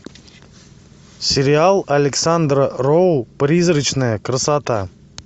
сериал александра роу призрачная красота